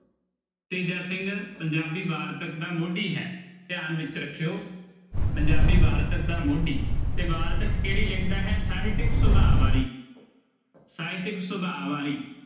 ਤੇਜਾ ਸਿੰਘ ਪੰਜਾਬੀ ਵਾਰਤਕ ਦਾ ਮੋਢੀ ਹੈ ਧਿਆਨ ਵਿੱਚ ਰੱਖਿਓ ਪੰਜਾਬੀ ਵਾਰਤਕ ਦਾ ਮੋਢੀ ਤੇ ਵਾਰਤਕ ਕਿਹੜੀ ਲਿਖਦਾ ਹੈ ਸਾਹਿਤਿਕ ਸੁਭਾ ਵਾਲੀ ਸਾਹਿਤਿਕ ਸੁਭਾ ਵਾਲੀ